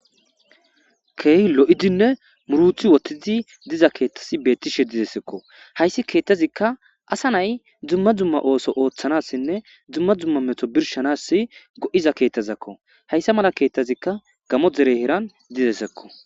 Key lo'idinne muruthi wottizi diza keettasi beettishe dizessekko hayssi keettazikka asa nay dzumma dzumma ooso ooththanassinne dzumma dzumma meto birshanas go'iz keettazakko hayssa mala keettazikka gamo dere heran dizesekko.